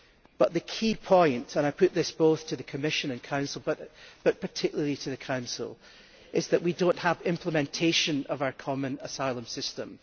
But the key point, and I put this both to the Commission and Council and particularly to the Council is that we do not have implementation of our Common Asylum System.